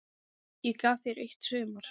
Ég gaf þér eitt sumar.